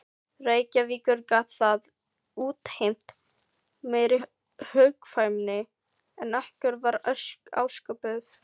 Reykjavíkur gat það útheimt meiri hugkvæmni en okkur var ásköpuð.